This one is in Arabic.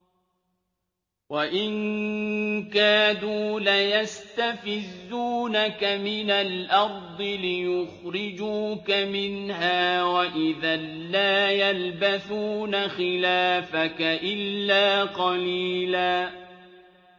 وَإِن كَادُوا لَيَسْتَفِزُّونَكَ مِنَ الْأَرْضِ لِيُخْرِجُوكَ مِنْهَا ۖ وَإِذًا لَّا يَلْبَثُونَ خِلَافَكَ إِلَّا قَلِيلًا